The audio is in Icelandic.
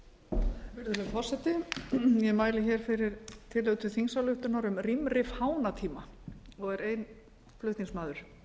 virðulegi forseti ég mæli fyrir tillögu til þingsályktunar um rýmri fánatíma og er ein flutningsmaður